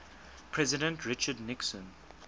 president richard nixon